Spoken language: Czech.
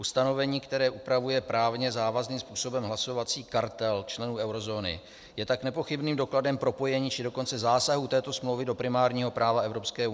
Ustanovení, které upravuje právně závazným způsobem hlasovací kartel členů eurozóny je tak nepochybným dokladem propojení, či dokonce zásahu této smlouvy do primárního práva EU.